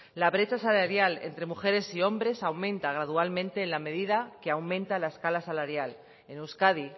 la brecha salarial entre mujeres y hombres aumenta gradualmente en la medida que aumenta la escala salarial en euskadi